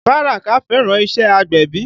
Baraka fẹ́ràn iṣẹ́ agbẹ̀bí